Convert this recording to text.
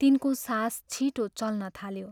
" तिनको सास छिटो चल्न थाल्यो।